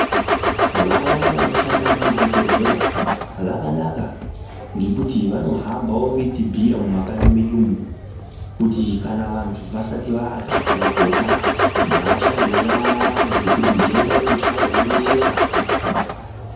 Vaya vanoshanda muchibhohleya zvakanaka ngekuti vanohambawo vechibhiirawo vantu mumakanyi medu kuti vantu vasati varya kana kurya ngavashambe nyara ngekuti ndenda yekuchaya yonetsa.